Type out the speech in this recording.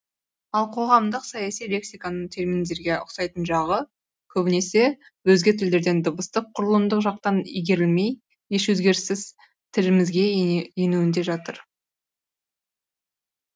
ал қоғамдық саяси лексиканың терминдерге ұқсайтын жағы көбінесе өзге тілдерден дыбыстық құрылымдық жақтан игерілмей еш өзгеріссіз тілімізге енуінде жатыр